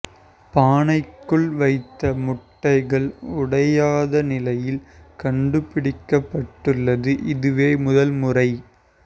பானைக்குள் வைத்த முட்டைகள் உடையாத நிலையில் கண்டுபிடிக்கப்பட்டுள்ளது இதுவே முதல்முறை